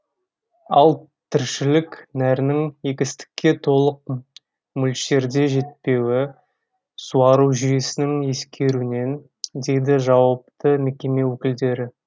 ал тіршілік нәрінің егістікке толық мөлшерде жетпеуі суару жүйесінің ескеруінен дейді жауапты мекеме өкілдері